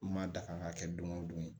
N ma da kan ŋa kɛ don go don